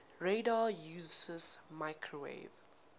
radar uses microwave